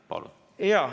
Palun!